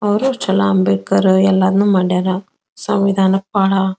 ಅವ್ರು ಅಂಬೇಡ್ಕರ್ ಎಲ್ಲಾನು ಮಾಡ್ಯಾರ ಸಂವಿಧಾನಕ್ ಬಹಳ --